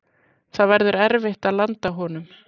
Það verður erfitt að landa honum,